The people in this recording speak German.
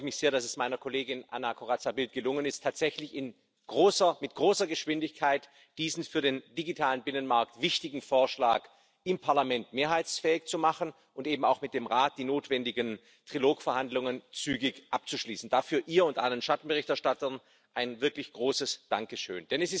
Zunächst einmal freue mich sehr, dass es meiner Kollegin Anna Corazza Bildt gelungen ist, tatsächlich mit großer Geschwindigkeit diesen für den digitalen Binnenmarkt wichtigen Vorschlag im Parlament mehrheitsfähig zu machen und eben auch mit dem Rat die notwendigen Trilog Verhandlungen zügig abzuschließen. Dafür ihr und allen Schattenberichterstattern ein wirklich großes Dankeschön.